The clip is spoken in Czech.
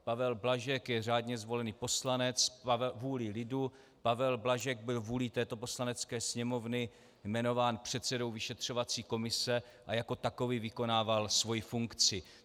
Pavel Blažek je řádně zvolený poslanec vůlí lidu, Pavel Blažek byl vůlí této Poslanecké sněmovny jmenován předsedou vyšetřovací komise a jako takový vykonával svoji funkci.